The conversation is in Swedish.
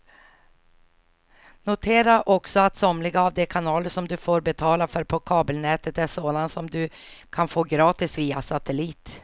Notera också att somliga av de kanaler som du får betala för på kabelnätet är sådana som du kan få gratis via satellit.